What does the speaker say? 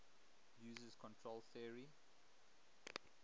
uses control theory